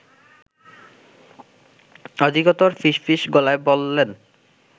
অধিকতর ফিস ফিস গলায় বললেন